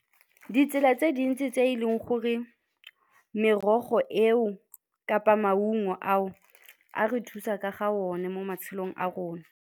Ditsela tse dintsi tse e leng gore merogo eo kapa maungo ao a re thusa ka ga one mo matshelong a rona.